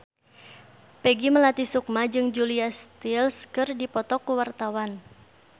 Peggy Melati Sukma jeung Julia Stiles keur dipoto ku wartawan